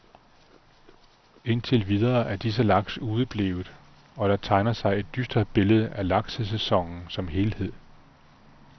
Indtil videre er disse laks udeblevet, og der tegner sig et dystert billede af laksesæsonen som helhed.